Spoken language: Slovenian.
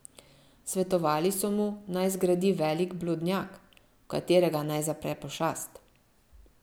Svetovali so mu, naj zgradi velik blodnjak, v katerega naj zapre pošast.